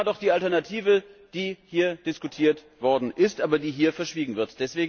Das war doch die Alternative, die hier diskutiert worden ist, aber die hier verschwiegen wird!